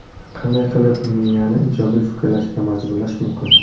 Qanday qilib miyani ijobiy fikrlashga majburlash mumkin?.